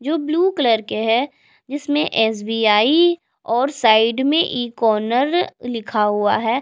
जो blue colour के है जिसमें एस-बी-आई और साइड में ई कॉर्नर लिखा हुआ है।